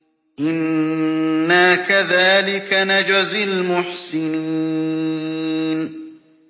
إِنَّا كَذَٰلِكَ نَجْزِي الْمُحْسِنِينَ